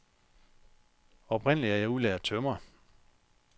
Oprindelig er jeg udlært tømrer.